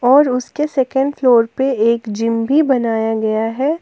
और उसके second floor पर एक जिम भी बनाया गया है।